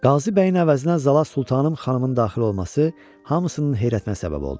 Qazibəyin əvəzinə Zala Sultanım xanımın daxil olması hamısının heyrətinə səbəb oldu.